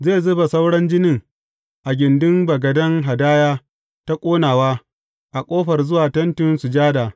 Zai zuba sauran jinin a gindin bagaden hadaya ta ƙonawa a ƙofar zuwa Tentin Sujada.